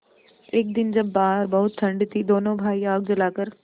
एक दिन जब बाहर बहुत ठंड थी दोनों भाई आग जलाकर